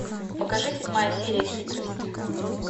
покажи седьмая серия хитрость